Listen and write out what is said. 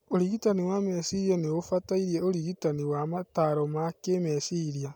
ũrigitani wa meciria noũbatare urigitani wa mataro ma kĩmeciria